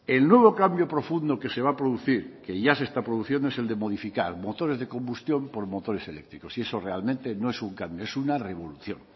el nuevo cambio profundo que se va a producir que ya se está produciendo es el de modificar motores de combustión por motores eléctricos y eso realmente no es un cambio es una revolución